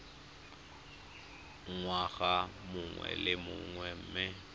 ngwaga mongwe le mongwe mme